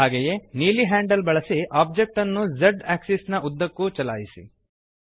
ಹಾಗೆಯೇ ನೀಲಿ ಹ್ಯಾಂಡಲ್ ಬಳಸಿ ಒಬ್ಜೆಕ್ಟ್ ಅನ್ನು Z ಆಕ್ಸಿಸ್ ನ ಉದ್ದಕ್ಕೂ ಚಲಿಸಿ